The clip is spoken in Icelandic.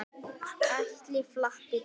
Ætli það, svaraði hann dræmt.